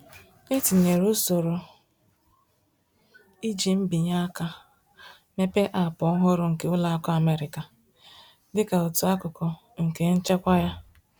Etinyere usoro iji mbinyeaka mepee Aapụ ọhụrụ nke Ụlọakụ Amerika, dịka otú akụkụ nke nchekwa ya